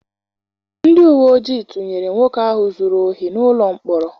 Ndị uwe ojii tụnyere nwoke ahụ zụrụ ohi n'ụlọ mkpọrọ.